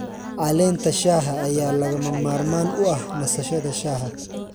Caleenta shaaha ayaa lagama maarmaan u ah nasashada shaaha.